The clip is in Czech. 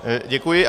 Děkuji.